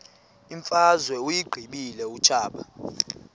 imfazwe uyiqibile utshaba